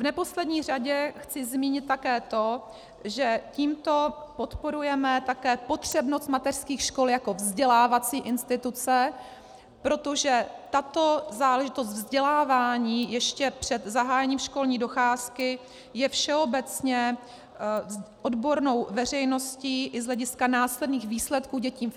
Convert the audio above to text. V neposlední řadě chci zmínit také to, že tímto podporujeme také potřebnost mateřských škol jako vzdělávací instituce, protože tato záležitost vzdělávání ještě před zahájením školní docházky je všeobecně odbornou veřejností i z hlediska následných výsledků dětí